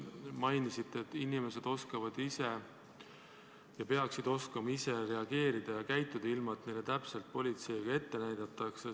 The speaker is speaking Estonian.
Te mainisite, et inimesed peaksid oskama ja oskavadki ise reageerida ja käituda, ilma et politsei neile täpselt ette näitaks.